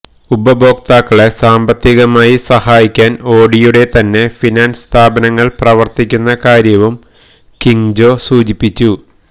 ഉപഭോക്താക്കളെ സാമ്പത്തികമായി സഹായിക്കാന് ഓഡിയുടെ തന്നെ ഫിനാന്സ് സ്ഥാപനങ്ങള് പ്രവര്ത്തിക്കുന്ന കാര്യവും കിംഗ് ജോ സൂചിപ്പിച്ചു